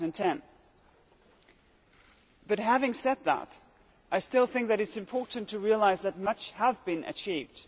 2010. But having said that, I still think it is important to realise that much has been achieved.